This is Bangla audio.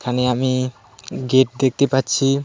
আমি আমি গেট দেখতে পাচ্ছি.